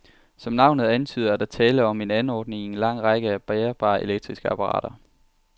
Som navnet antyder, er der tale om en anordning i en lang række af bærbare elektriske apparater.